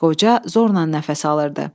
Qoca zorla nəfəs alırdı.